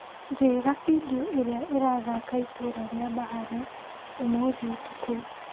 Njĩra bindiũ iria irathaka itũra rĩa Bahare ũmũthĩ ũtukũ